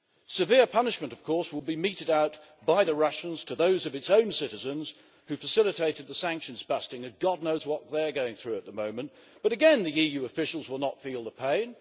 Severe punishment, of course, will be meted out by the Russians to those of its own citizens who facilitated the sanctions busting and God knows what they are going through at the moment but again the EU officials will not feel the pain.